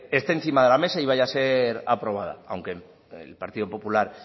esté encima de la mesa y vaya a ser aprobada aunque el partido popular